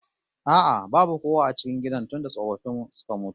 A'a babu kowa a cikin gidan tunda tsofaffin suka mutu